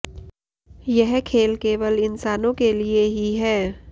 यह खेल केवल इंसानों के लिए ही है